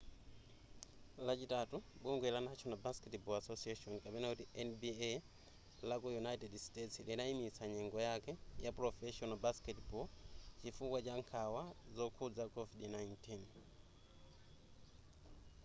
lachitatu bungwe la national basketball association nba laku united states linayimitsa nyengo yake ya professional basketball chifukwa cha nkhawa zokhudza covid-19